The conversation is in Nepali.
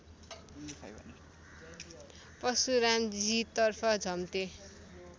परशुरामजी तर्फ झम्टे